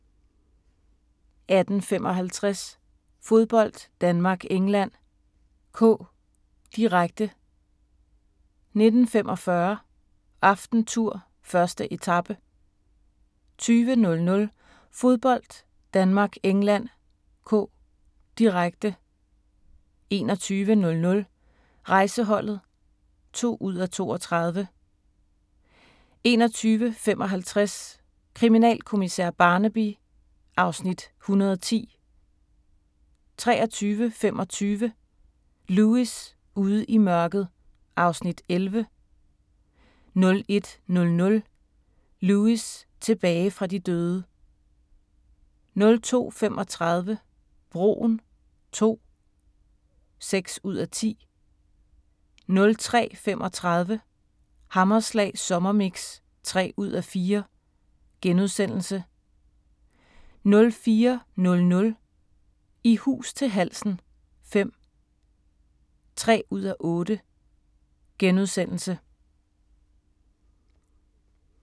18:55: Fodbold: Danmark-England (k), direkte 19:45: AftenTour: 1. etape 20:00: Fodbold: Danmark-England (k), direkte 21:00: Rejseholdet (2:32) 21:55: Kriminalkommissær Barnaby (Afs. 110) 23:25: Lewis: Ude i mørket (Afs. 11) 01:00: Lewis: Tilbage fra de døde 02:35: Broen II (6:10) 03:35: Hammerslag sommermix (3:4)* 04:00: I hus til halsen V (3:8)*